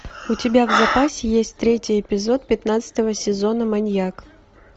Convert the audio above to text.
у тебя в запасе есть третий эпизод пятнадцатого сезона маньяк